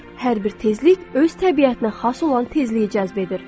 Hər bir tezlik öz təbiətinə xas olan tezliyi cəzb edir.